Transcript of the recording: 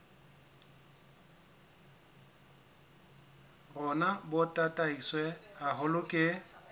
rona bo tataiswe haholo ke